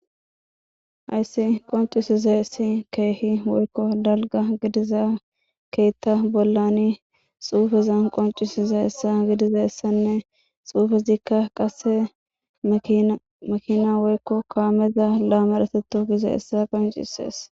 hayssi qoncisiza essi keehi woykko dalga gidiza keetta bollani xuufeza qoncisiza essa gidiza essanne xuufezikka qase makina woykko koameza laamareteto giza hessa qoncisees